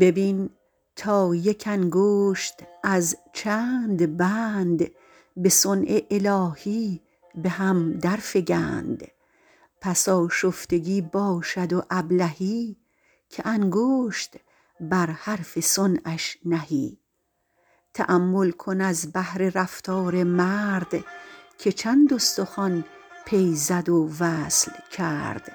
ببین تا یک انگشت از چند بند به صنع الهی به هم در فگند پس آشفتگی باشد و ابلهی که انگشت بر حرف صنعش نهی تأمل کن از بهر رفتار مرد که چند استخوان پی زد و وصل کرد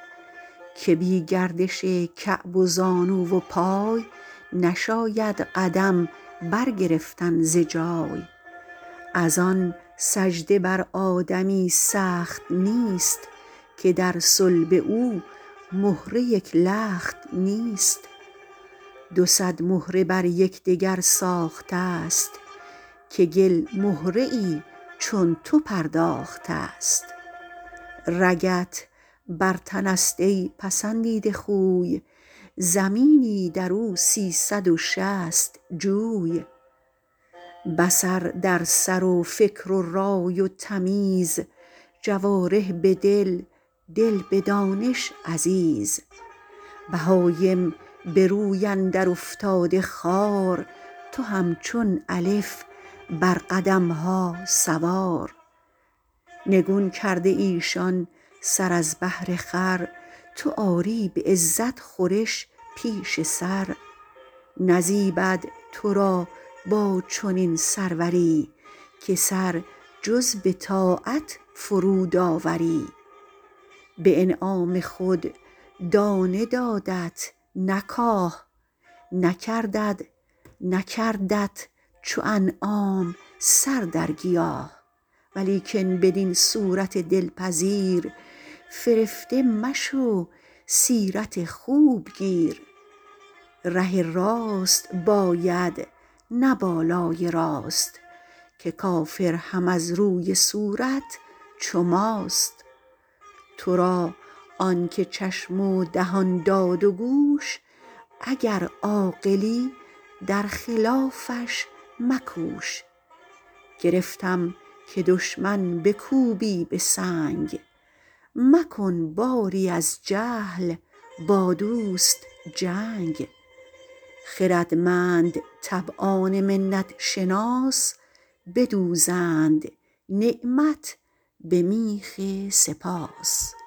که بی گردش کعب و زانو و پای نشاید قدم بر گرفتن ز جای از آن سجده بر آدمی سخت نیست که در صلب او مهره یک لخت نیست دو صد مهره بر یکدگر ساخته ست که گل مهره ای چون تو پرداخته ست رگت بر تن است ای پسندیده خوی زمینی در او سیصد و شصت جوی بصر در سر و فکر و رای و تمیز جوارح به دل دل به دانش عزیز بهایم به روی اندر افتاده خوار تو همچون الف بر قدمها سوار نگون کرده ایشان سر از بهر خور تو آری به عزت خورش پیش سر نزیبد تو را با چنین سروری که سر جز به طاعت فرود آوری به انعام خود دانه دادت نه کاه نکردت چو انعام سر در گیاه ولیکن بدین صورت دلپذیر فرفته مشو سیرت خوب گیر ره راست باید نه بالای راست که کافر هم از روی صورت چو ماست تو را آن که چشم و دهان داد و گوش اگر عاقلی در خلافش مکوش گرفتم که دشمن بکوبی به سنگ مکن باری از جهل با دوست جنگ خردمند طبعان منت شناس بدوزند نعمت به میخ سپاس